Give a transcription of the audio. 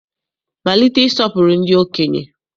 Malite ịsọpụrụ ndị okenye!